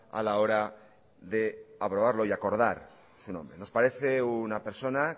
a la hora de aprobarlo y acordar su nombre nos parece una persona